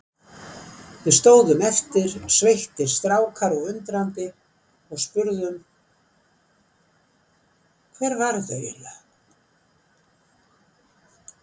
Við stóðum eftir, sveittir strákar og undrandi og spurðum: Hver var þetta eiginlega?